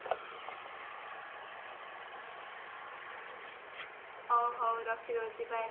ହଉ ହଉ ରଖି ଦଉଛି bye